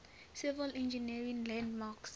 civil engineering landmarks